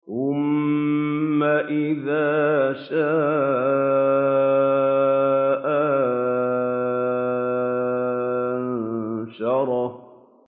ثُمَّ إِذَا شَاءَ أَنشَرَهُ